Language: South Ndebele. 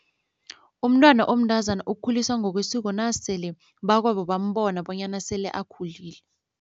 Umntwana omntazana ukhuliswa ngokwesiko nasele bakwabo bambona bonyana sele akhulile.